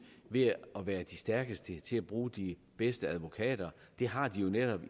ved at være de stærkeste til at bruge de bedste advokater de har jo netop